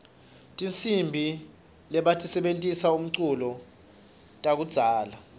tihsimbi lebatisebentisela umculo takudzala